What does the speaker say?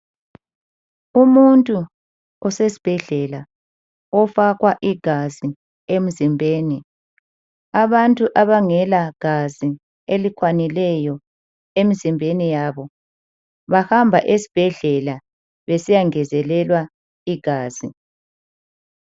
Umuntu usesbhedlela ofakwa igazi emzimbeni. Abantu abangela gazi elikwanileyo emzimbeni yabo, bahamba esibhedlela besiyangezelwa igazi.